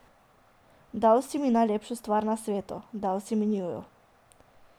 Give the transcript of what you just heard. Dal si mi najlepšo stvar na svetu, dal si mi njiju.